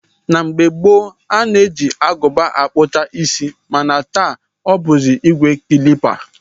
Na mgbe gboo, a na-eji Agụba akpụcha isi mana taa ọ bụzi ìgwè klipa